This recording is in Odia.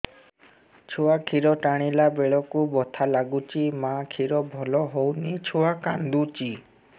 ଛୁଆ ଖିର ଟାଣିଲା ବେଳକୁ ବଥା ଲାଗୁଚି ମା ଖିର ଭଲ ହଉନି ଛୁଆ କାନ୍ଦୁଚି